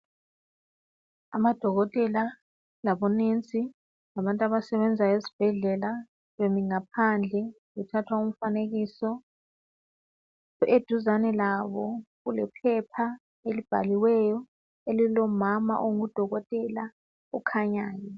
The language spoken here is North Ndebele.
Amadokotela labonesi labantu abasebenzayo esibhedlela bemi ngaphandle bethatha umfanekiso. Eduzane labo kulephepha elibhaliweyo elilomama ongudokotela okhanyayo.